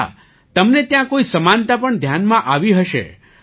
અચ્છા તમને ત્યાં કોઈ સમાનતા પણ ધ્યાનમાં આવી હશે